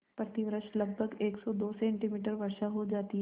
प्रतिवर्ष लगभग सेमी वर्षा हो जाती है